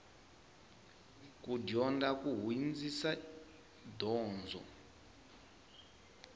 ku dyondza ku hindzisa donzo